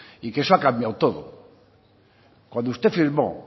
y que eso ha cambiado todo cuando usted firmó